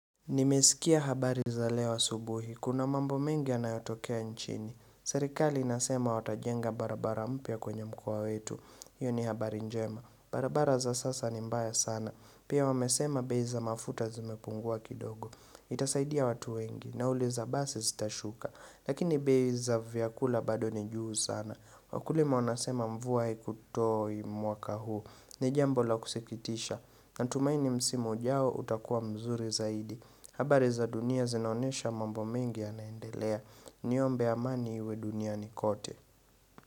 Nimesikia habari za leo asubuhi, kuna mambo mengi yanayotokea nchini Serikali inasema watajenga barabara mpya kwenye mkoa wetu, hiyo ni habari njema barabara za sasa ni mbaya sana, pia wamesema bei za mafuta zimepungua kidogo Itasaidia watu wengi, nauli za basi zitashuka, lakini bei za vyakula bado ni juu sana Wakulima wanasema mvua ikutoi mwaka huu, ni jambo la kusikitisha Natumaini msimu ujao utakua mzuri zaidi habari za dunia zinaonesha mambo mingi yanaendelea Niombe amani iwe duniani kote.